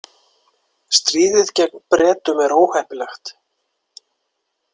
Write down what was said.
Stríðið gegn Bretum er óheppilegt.